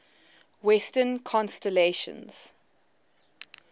western constellations